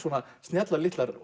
snjallar litlar